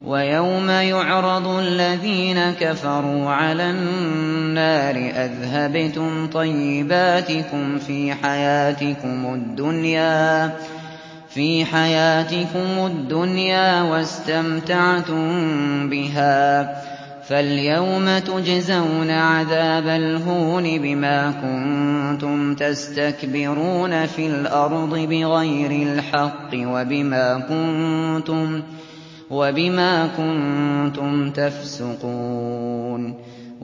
وَيَوْمَ يُعْرَضُ الَّذِينَ كَفَرُوا عَلَى النَّارِ أَذْهَبْتُمْ طَيِّبَاتِكُمْ فِي حَيَاتِكُمُ الدُّنْيَا وَاسْتَمْتَعْتُم بِهَا فَالْيَوْمَ تُجْزَوْنَ عَذَابَ الْهُونِ بِمَا كُنتُمْ تَسْتَكْبِرُونَ فِي الْأَرْضِ بِغَيْرِ الْحَقِّ وَبِمَا كُنتُمْ تَفْسُقُونَ